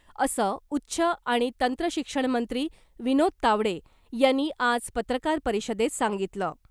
असं उच्च आणि तंत्रशिक्षणमंत्री विनोद तावडे यांनी आज पत्रकार परिषदेत सांगितलं .